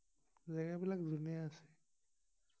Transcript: জেগা বিলাক ধুনীয়া আছে